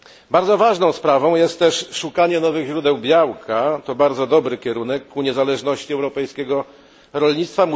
Bardzo ważną sprawą jest też szukanie nowych źródeł białka to bardzo dobry kierunek ku niezależności europejskiego rolnictwa.